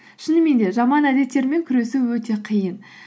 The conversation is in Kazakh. шынымен де жаман әдеттермен күресу өте қиын